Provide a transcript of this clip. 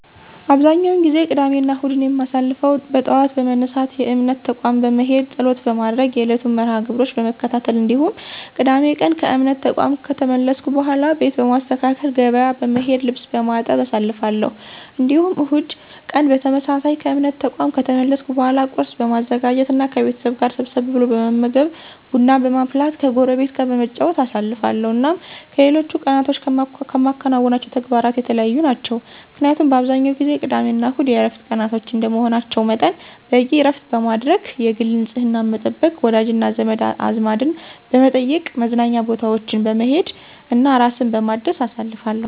አብዛኛውን ጊዜ ቅዳሜና እሁድን የማሳልፈው በጠዋት በመነሳት የእምነት ተቋም በመሄድ ፀሎት በማድረግ የዕለቱን መርሐ -ግብሮች በመከታተል እንዲሁም ቅዳሜ ቀን ከእምነት ተቋም ከተመለስኩ በኃላ ቤት በማስተካከል፣ ገበያ በመሄድ፣ ልብስ በማጠብ አሳልፋለሁ። እንዲሁም እሁድ ቀን በተመሳሳይ ከእምነት ተቋም ከተመለስኩ በኃላ ቁርስ በማዘጋጀት እና ከቤተሰብ ጋር ሰብሰብ ብሎ በመመገብ፣ ቡና በማፍላት ከጎረቤት ጋር በመጨዋወት አሳልፋለሁ። እናም ከሌሎች ቀናቶች ከማከናውናቸው ተግባራት የተለዩ ናቸው። ምክንያቱም አብዛኛውን ጊዜ ቅዳሜና እሁድ የዕረፍት ቀናቶች እንደመሆናቸው መጠን በቂ ዕረፍት በማድረግ፣ የግል ንፅህናን በመጠበቅ፣ ወዳጅና ዘመድ አዝማድን በመጠየቅ፣ መዝናኛ ቦታዎች በመሄድ እና ራስን በማደስ አሳልፋለሁ።